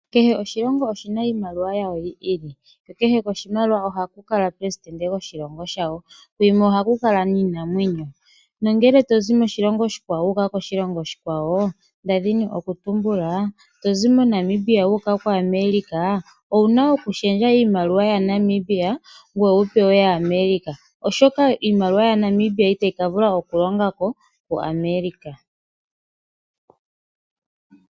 Kehe oshilongo oshi na iimaliwa yasho yi ili ko kehe koshilongo ohaku kala omupelesidente goshilongo shawo. Kuyimwe ohaku kala iinamwenyo. Ngele to zi moshilongo shimwe wu uka moshilongo oshikwawo nda dhini okutumbula to zi moNamibia wu uka koAmerica owu na okushendja iimaliwa yaNamibia ngoye wu pewe yaAmerica, oshoka iimaliwa yaNamibia itayi ka vula okulonga ko koAmerica.